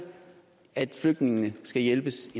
at flygtningene skal hjælpes